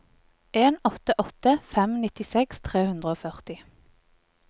en åtte åtte fem nittiseks tre hundre og førti